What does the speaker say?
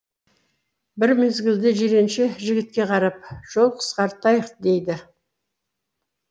бір мезгілде жиренше жігітке қарап жол қысқартайық дейді